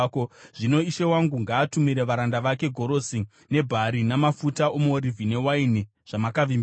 “Zvino ishe wangu ngaatumire varanda vake gorosi nebhari namafuta omuorivhi newaini zvamakavimbisa,